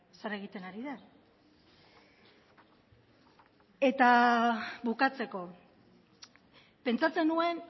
zer egiten ari den eta bukatzeko pentsatzen nuen